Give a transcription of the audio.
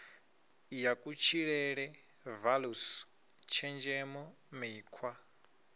ya kutshilele values tshenzhemo mikhwa